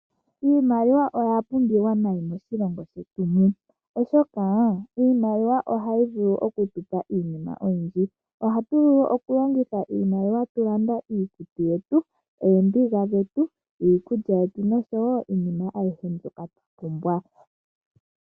Iimaliwa oya pumbiwa nayi moshilongo shetu mu, oshoka iimaliwa ohayi vulu okutupa iinima oyindji. Ohatu vulu oku longitha iimaliwa oku landa iikutu yetu, oombiga dhetu, iikulya yetu noshowo iinima ayihe mbyoka twa pumbwa.